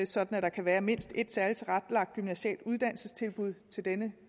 sådan at der kan være mindst et særligt tilrettelagt gymnasialt uddannelsestilbud til denne